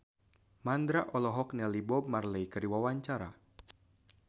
Mandra olohok ningali Bob Marley keur diwawancara